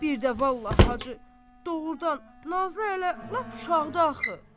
Birdə vallah Hacı, doğurdan, Nazlı hələ lap uşaqdı axı.